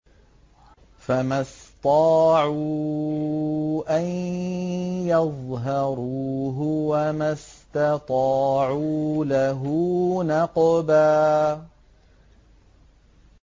فَمَا اسْطَاعُوا أَن يَظْهَرُوهُ وَمَا اسْتَطَاعُوا لَهُ نَقْبًا